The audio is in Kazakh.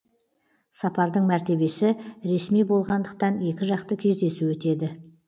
сапардың мәртебесі ресми болғандықтан екіжақты кездесу өтеді